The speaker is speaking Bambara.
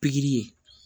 Pikiri ye